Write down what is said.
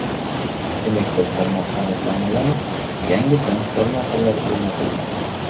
Elektr tarmoqlari ta’mirlanib, yangi transformatorlar o‘rnatilmoqda.